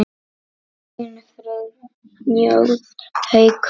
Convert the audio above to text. Þinn Friðjón Haukur.